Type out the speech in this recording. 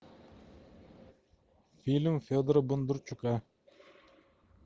фильм федора бондарчука